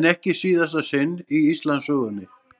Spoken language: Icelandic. en ekki síðasta sinn í Íslandssögunni.